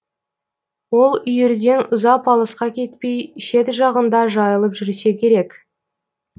ол үйірден ұзап алысқа кетпей шет жағында жайылып жүрсе керек